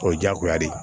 O ye diyagoya de ye